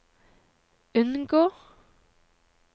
unngå